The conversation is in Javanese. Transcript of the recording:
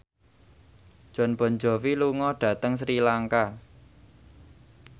Jon Bon Jovi lunga dhateng Sri Lanka